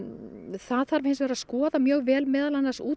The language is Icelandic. það þarf hins vegar að skoða mjög vel meðal annars út